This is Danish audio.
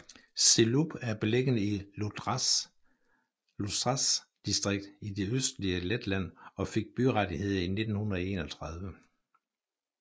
Zilupe er beliggende i Ludzas distrikt i det østlige Letland og fik byrettigheder i 1931